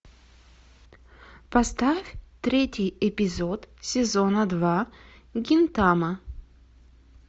поставь третий эпизод сезона два гинтама